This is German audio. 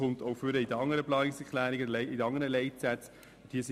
Dies geht auch aus den anderen Planungserklärungen und Leitsätzen hervor.